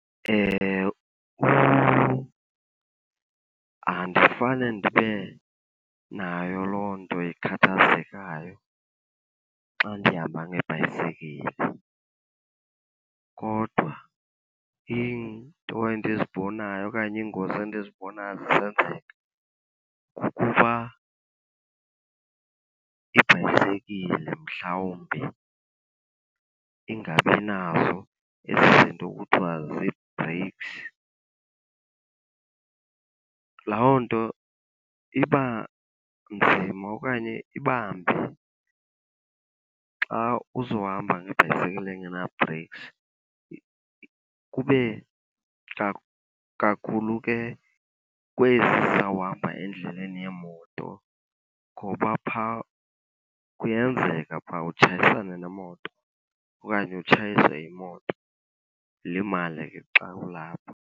Andifane ndibe nayo loo nto ikhathazekayo xa ndihamba ngebhayisekile. Kodwa iinto endizibonayo okanye iingozi endizibonayo zisenzeka kukuba ibhayisekile mhlawumbi ingabi nazo ezi zinto kuthiwa zii-brakes. Loo nto iba nzima okanye iba mbi xa uzohamba ngebhayisekile engena-brakes. Kube kakhulu ke kwezi zizawuhamba endleleni yeemoto ngoba phaa kuyenzeka phaa utshayisane nemoto okanye utshayise imoto. Ulimale ke xa kulapho.